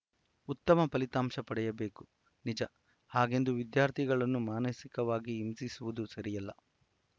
ಉತ್ತಮ ಫಲಿತಾಂಶ ಪಡೆಯಬೇಕು ನಿಜ ಹಾಗೆಂದು ವಿದ್ಯಾರ್ಥಿಗಳನ್ನು ಮಾನಸಿಕವಾಗಿ ಹಿಂಸಿಸುವುದು ಸರಿಯಲ್ಲ